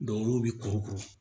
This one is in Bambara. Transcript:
olu bɛ kuru kuru